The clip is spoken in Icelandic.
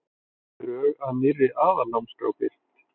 Drög að nýrri aðalnámskrá birt